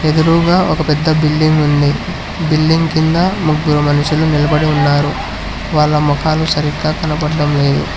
ఎదురుగా ఒక పెద్ద బిల్డింగ్ ఉంది బిల్డింగ్ కింద ముగ్గురు మనుషులు నిలబడి ఉన్నారు వాళ్ళ మొఖాలు సరిగ్గ కనబడ్డం లేదు.